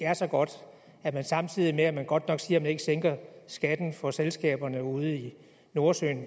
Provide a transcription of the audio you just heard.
er så godt at man samtidig med at man godt nok siger at man ikke sænker skatten for selskaberne ude i nordsøen